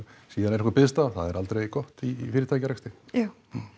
síðan er einhver biðstaða það er aldrei gott í fyrirtækjarekstri já